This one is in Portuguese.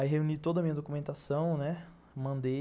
Aí reuni toda a minha documentação, né, mandei.